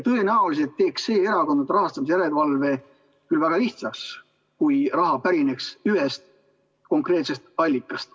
Tõenäoliselt teeks see erakondade rahastamise järelevalve küll väga lihtsaks, kui raha pärineks ühest konkreetsest allikast.